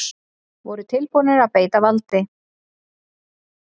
Voru tilbúnir að beita valdi